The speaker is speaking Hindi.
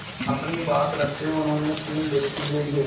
अपनी बात रखते हुए उन्होंने तीन व्यक्ति भेजे